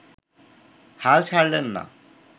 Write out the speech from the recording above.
হাল ছাড়লেন না